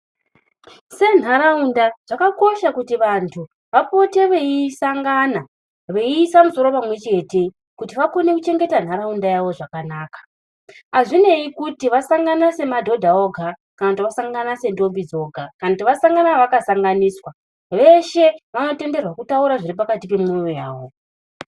Senharaunda zvakakosha kuti vantu vapote veisangana veiise misoro pamwe chete kuti vakone kuchengete nharaunda yavo zvakanaka hazvinei kuti vasangana semadhodha oga kana kuti vasangana sendombi dzoga kana kuti vasangana vakasanganiswa veshe vanotenderwa kutaura zviri pakati pemwoyo yavo